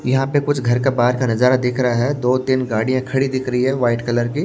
यहां पे कुछ घर का बाहर का नजारा दिख रहा है दो-तीन गाड़ियां खड़ी दिख रही है वाइट कलर की।